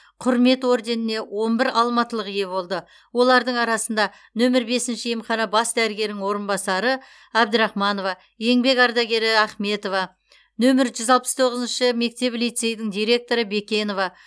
құрмет орденіне он бір алматылық ие болды олардың арасында нөмір бесінші емхана бас дәрігерінің орынбасары әбдрахманова еңбек ардагері ахметова нөмір жүз алпыс тоғызыншы мектеп лицейдің директоры бекенова